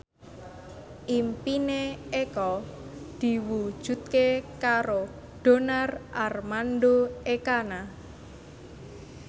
impine Eko diwujudke karo Donar Armando Ekana